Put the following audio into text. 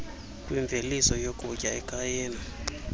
kwimveliso yokutya ekhayeni